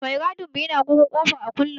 Mai gadin mu yana wurin kofa a kullum.